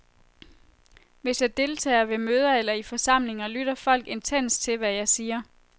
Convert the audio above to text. Hvis jeg deltager ved møder eller i forsamlinger, lytter folk intenst til, hvad jeg siger.